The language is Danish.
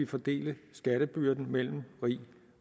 fordele skattebyrden mellem rig